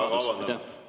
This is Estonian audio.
Hea küsija, teie aeg!